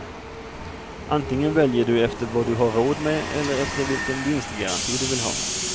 Antingen väljer du efter vad du har råd med eller efter vilken vinstgaranti du vill ha.